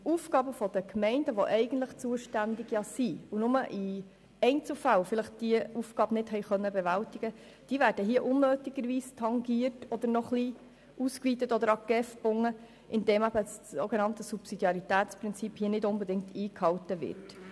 Zudem werden hier die Aufgaben der Gemeinden, die eigentlich zuständig sind und diese Aufgaben vielleicht nur in Einzelfällen nicht bewältigen konnten, unnötigerweise tangiert, noch ein bisschen ausgeweitet oder an die GEF gebunden, indem das sogenannte Subsidiaritätsprinzip hier nicht unbedingt eingehalten wird.